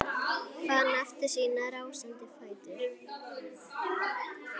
Fann aftur sína rásandi fætur.